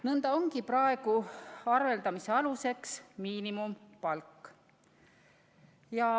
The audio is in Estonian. Nõnda ongi praegu arveldamise aluseks miinimumpalk.